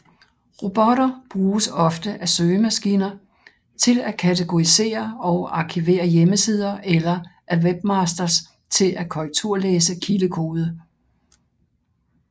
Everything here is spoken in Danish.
Robotter bruges ofte af søgemaskiner til at kategorisere og arkivere hjemmesider eller af webmasters til at korrekturlæse kildekode